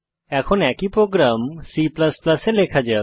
এখন একই program C এ লেখা যাক